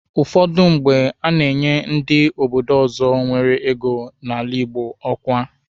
Ụfọdụ mgbe, a na-enyi ndị obodo ọzọ nwere ego n'ala Igbo ọkwa.